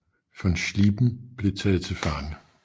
Von Schlieben blev taget til fange